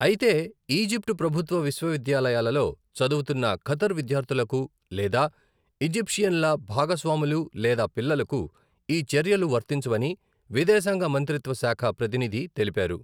అయితే, ఈజిప్టు ప్రభుత్వ విశ్వవిద్యాలయాలలో చదువుతున్న ఖతార్ విద్యార్థులకు లేదా ఈజిప్షియన్ల భాగస్వాములు లేదా పిల్లలకు ఈ చర్యలు వర్తించవని విదేశాంగ మంత్రిత్వ శాఖ ప్రతినిధి తెలిపారు.